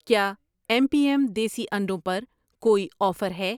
کیا M P M دیسی انڈوں پر کوئی آفر ہے؟